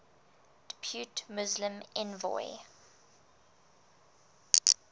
depute muslim envoy